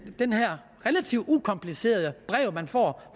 her relativt ukomplicerede brev man får